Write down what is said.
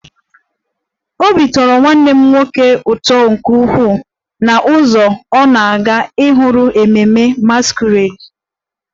Obi tọrọ nwanne m nwoke ụtọ nke ukwuu n'ụzọ ọ na-aga ikiri ememme masquerade